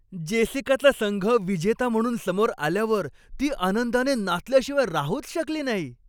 जेसिकाचा संघ विजेता म्हणून समोर आल्यावर ती आनंदाने नाचल्याशिवाय राहूच शकली नाही.